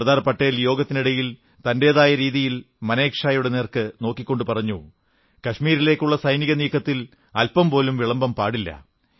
സർദാർ പട്ടേൽ യോഗത്തിനിടയിൽ തന്റേതായ രീതിയിൽ മനേക് ഷായുടെ നേരെ നോക്കിക്കൊണ്ടു പറഞ്ഞു കശ്മീരിലേക്കുള്ള സൈനിക നീക്കത്തിൽ അൽ്പംപോലും വിളംബം പാടില്ല